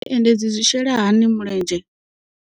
Zwi endedzi zwi shela hani mulenzhe.